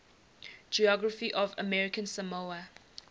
geography of american samoa